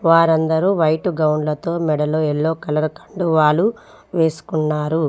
వారందరూ వైట్ గౌన్లతో మెడలో ఎల్లో కలర్ కండువాలు వేసుకున్నారు.